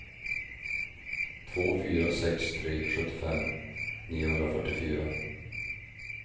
två fyra sex tre sjuttiofem niohundrafyrtiofyra